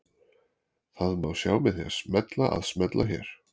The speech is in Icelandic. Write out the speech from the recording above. Það má sjá með því að smella að smella hér